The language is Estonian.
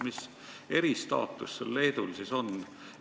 Mis eristaatus sellel Leedul siis on?